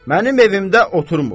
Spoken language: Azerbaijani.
Mənim evimdə otuymur.